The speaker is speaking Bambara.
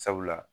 Sabula